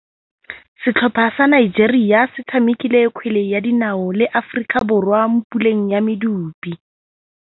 Setlhopha sa Nigeria se tshamekile kgwele ya dinaô le Aforika Borwa mo puleng ya medupe.